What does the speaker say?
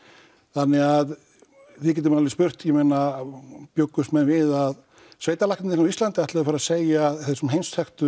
þannig að við getum alveg spurt bjuggust menn við að á Íslandi ætluðu að fara að segja þessum heimsþekktu